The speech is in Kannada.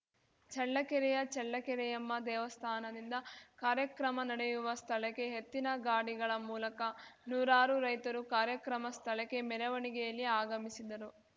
ಚಳ್ಳಕೆರೆಯ ಚಳ್ಳಕೆರೆಯಮ್ಮ ದೇವಸ್ಥಾನದಿಂದ ಕಾರ್ಯಕ್ರಮ ನಡೆಯುವ ಸ್ಥಳಕ್ಕೆ ಎತ್ತಿನ ಗಾಡಿಗಳ ಮೂಲಕ ನೂರಾರು ರೈತರು ಕಾರ್ಯಕ್ರಮ ಸ್ಥಳಕ್ಕೆ ಮೆರವಣಿಗೆಯಲ್ಲಿ ಆಗಮಿಸಿದರು